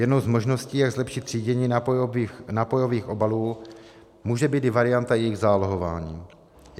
Jednou z možností, jak zlepšit třídění nápojových obalů, může být i varianta jejich zálohování.